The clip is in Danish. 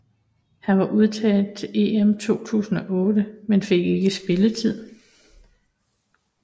Han var udtaget til EM 2008 men fik ikke spilletid